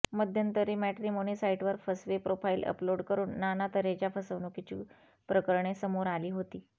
मध्यंतरी मॅट्रिमोनी साइटवर फसवे प्रोफाइल अपलोड करून नाना तऱ्हेच्या फसवणुकीची प्रकरणे समोर आली होती